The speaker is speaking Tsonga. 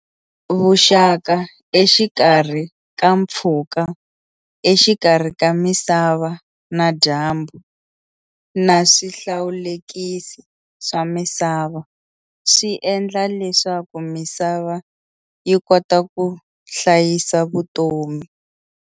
Vuxaka exikarhi ka mpfhuka exikarhi ka misava na dyambu, naswihlawulekisi swa misava swiendla leswaku misava yikota kuhlayisa vutomi.